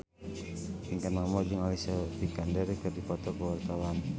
Pinkan Mambo jeung Alicia Vikander keur dipoto ku wartawan